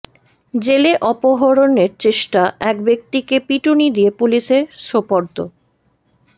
জেলে অপহরণের চেষ্টা এক ব্যক্তিকে পিটুনি দিয়ে পুলিশে সোপর্দ